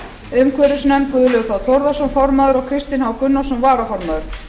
umhverfisnefnd guðlaugur þ þórðarson formaður og kristinn h gunnarsson varaformaður